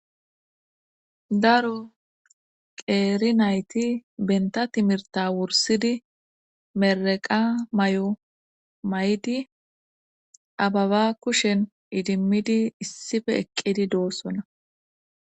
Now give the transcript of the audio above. Daro qeeri nayti benta timirta wursidi mereqa may7o may7di ababa kushen idimmidi issife eqqidi doossona